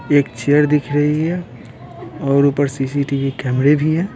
एक चेयर दिख रही है और ऊपर सी_सी_टी_वी कैमरे भी है।